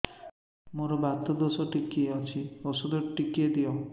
ମୋର୍ ବାତ ଦୋଷ ଟିକେ ଅଛି ଔଷଧ ଟିକେ ଦିଅ